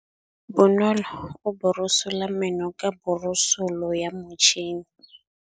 Bonolô o borosola meno ka borosolo ya motšhine.